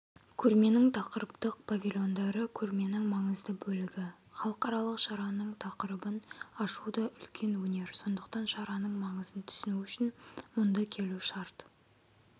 көрменің тақырыптық павильондары көрменің маңызды бөлігі халықаралық шараның тақырыбын ашу да үлкен өнер сондықтан шараның маңызын түсіну үшін мұнда келу шарт